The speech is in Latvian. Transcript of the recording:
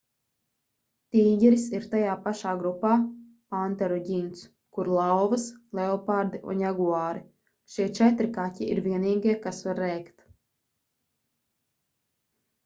tīģeris ir tajā pašā grupā panteru ģints kur lauvas leopardi un jaguāri. šie četri kaķi ir vienīgie kas var rēkt